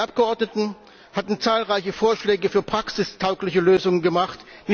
Wir Abgeordneten hatten zahlreiche Vorschläge für praxistaugliche Lösungen gemacht.